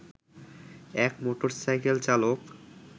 এক মোটরসাইকেল চালক